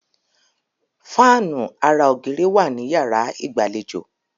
Fáànù ara ògiri wà ní yàrá ìgbàlejò.